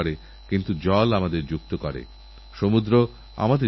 আমারপ্রিয় দেশবাসী বর্ষা এলেই আমাদের দেশে উৎসবের মরশুম শুরু হয়ে যায়